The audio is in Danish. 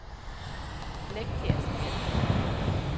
Flegkær Sande